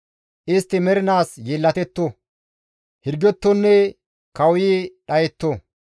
Istti mernaas yeellatetto; hirgettonne kawuyi dhayetto.